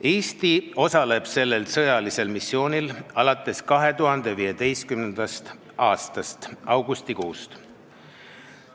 Eesti osaleb sellel sõjalisel missioonil alates 2015. aasta augustikuust.